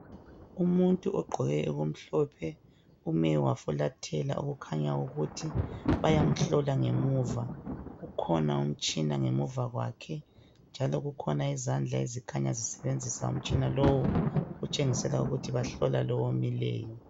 Umuntu ogqoke okumhlophe ume wafulathela okukhanya ukuthi bayamhlola ngemuva. Kukhona umtshina ngemuva kwakhe njalo kukhona izandla ezikhanya zisebenzisa umtshina lowo, okutshengisa ukuthi bahlola lo omileyo.